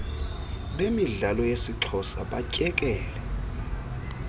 bemidlalo yesixhosa batyekele